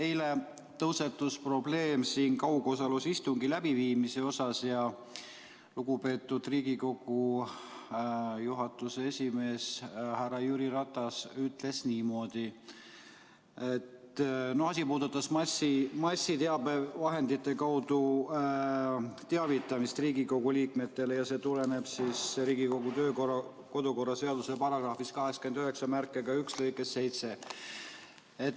Eile tõusetus siin probleem kaugosalusega istungi läbiviimise kohta ja lugupeetud Riigikogu juhatuse esimees härra Jüri Ratas ütles niimoodi – asi puudutas massiteabevahendite kaudu Riigikogu liikmete teavitamist ja see tuleneb Riigikogu kodu- ja töökorra seaduse §‑891 lõikest 7.